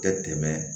Tɛ tɛmɛ